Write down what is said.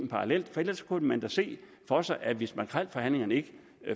parallelt for ellers kunne man da se for sig at hvis makrelforhandlingerne ikke